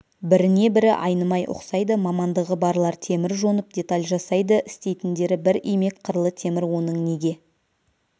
біріне-бірі айнымай ұқсайды мамандығы барлар темір жонып деталь жасайды істейтіндері бір имек қырлы темір оның неге